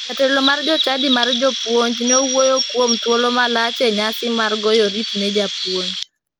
Jatelo mar jochadi mar jopuonj ne owuoyo kuom thulo malach e nyasi mar goyo oriti ne japuonj.